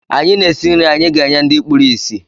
Anyị na-esi nri anyị ga-enye ndị kpuru ísì.